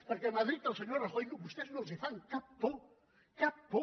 perquè a madrid al senyor rajoy vostès no els fan cap por cap por